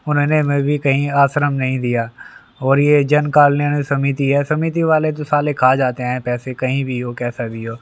उन्होंने हमें कहीं भी आश्रम नहीं दिया और ये जन कल्याण समिति है समिति वाले साले खा जाते हैं पैसे कहीं भी हो कैसा भी हो।